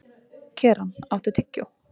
Keran, áttu tyggjó?